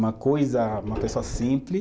Uma coisa, uma pessoa simples,